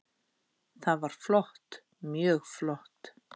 Það var flott, mjög flott.